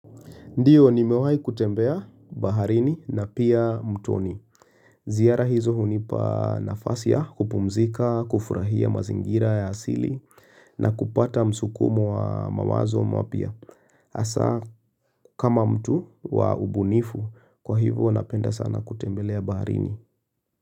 Ndiyo nimewahi kutembea baharini na pia mtoni. Ziara hizo hunipa nafasi ya kupumzika, kufurahia mazingira ya asili na kupata msukumo wa mawazo mapya. Hasa kama mtu wa ubunifu, kwa hivyo napenda sana kutembelea baharini.